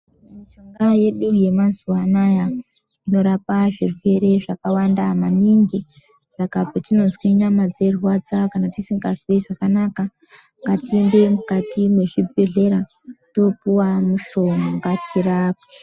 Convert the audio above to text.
Mishonga yedu yemazuva anaya inorapa zvirwere zvakawanda maningi. Saka petinozwe nyama dzeirwadza kana tisingazwi zvakanaka ngatiende mukati mezvibhehlera toopuwa mishonga tirapwe.